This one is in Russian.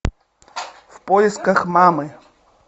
в поисках мамы